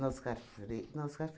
Na Oscar Fre, na Oscar